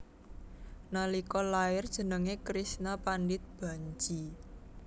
Nalika lair jenengé Krishna Pandit Bhanji